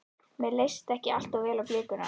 Mér leist ekki allt of vel á blikuna.